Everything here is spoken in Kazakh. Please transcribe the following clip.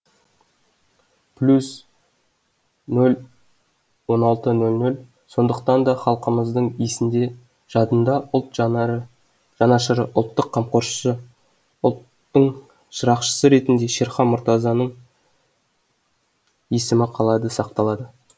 плюс нөл нөл он алты нөл нөл сондықтанда халқымыздың есінде жадында ұлт жанашыры ұлттың қамқоршысы ұлттың шырақшысы ретінде шерхан мұратазның есімі қалады сақталады